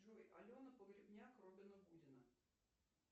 джой алена погребняк робина гудина